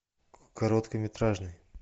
короткометражный